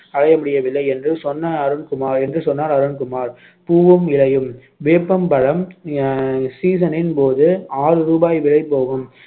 அடைய முடிவதில்லை என்று சொன்ன அருண்குமார் என்று சொன்னார் அருண்குமார் பூவும் இலையும் வேப்பம் பழம் அஹ் season னின் போது ஆறு ரூபாய் விலை போகும்